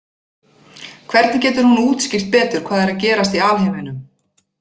Hvernig getur hún útskýrt betur hvað er að gerast í alheiminum?